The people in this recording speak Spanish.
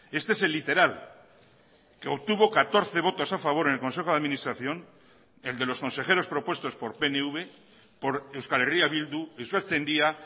este es el literal que obtuvo catorce votos a favor en el consejo de administración el de los consejeros propuestos por pnv por euskal herria bildu euskaltzaindia